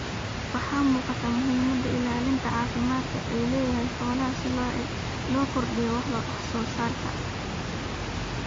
Waxaa muuqata muhiimada ilaalinta caafimaadku u leedahay xooluhu si loo kordhiyo wax soo saarka.